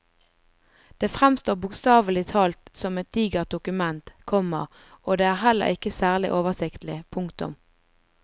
Det fremstår bokstavelig talt som et digert dokument, komma og det er heller ikke særlig oversiktlig. punktum